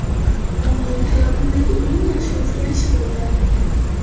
Bu mening hayotimdagi eng yaxshi o‘zgarish bo‘ldi.